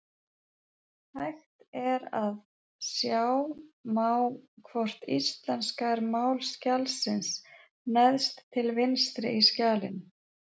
Hægt er að sjá má hvort íslenska er mál skjalsins neðst til vinstri í skjalinu.